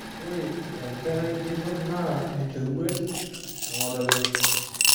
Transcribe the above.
Ore enkerai ntito naa enchoruet e ng'otonye.